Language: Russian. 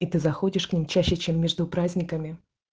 и ты заходишь к ним чаще чем между праздниками